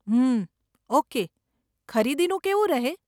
ઉમ્મ, okay, ખરીદીનું કેવું રહે?